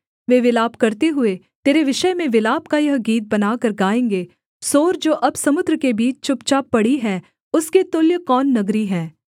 वे विलाप करते हुए तेरे विषय में विलाप का यह गीत बनाकर गाएँगे सोर जो अब समुद्र के बीच चुपचाप पड़ी है उसके तुल्य कौन नगरी है